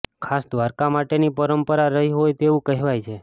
ખાસ દ્વારકા માટેની પરંપરા રહી હોય તેવું કહેવાય છે